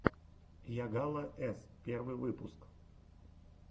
йагала с первый выпуск